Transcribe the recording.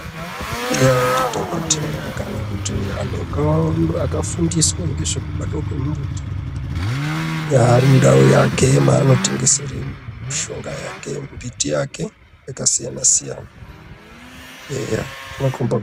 Eya ndidhokodheya kana kuti antu akafundiswa ngezvekubatwa kwezvemumbuti yaari mundau make mwaanotengesera mushonga yake mbiti yake yakasiyana siyana eya zvinokhomba.